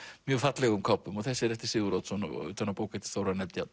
mjög fallegum kápum og þessi er eftir Sigurð Oddsson utan á bók eftir Þórarinn Eldjárn